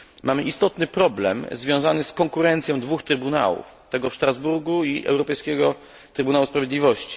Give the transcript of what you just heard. Mamy istotny problem związany z konkurencją dwóch trybunałów tego w Strasburgu i Europejskiego Trybunału Sprawiedliwości.